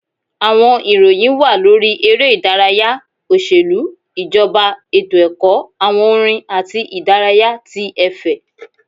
Àwọn ìròyìn wà lórí eré ìdárayá, oṣelu, ijọba, etó-ẹkọ, awọn orin atí idaraya tí efè.